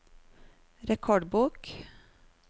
rekordbok